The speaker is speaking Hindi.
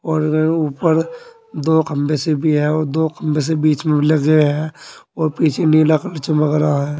और ऊपर दो खंभे से भी है और दो खंभे भी लगे है और पिछे नीला कलर चमक रहा है।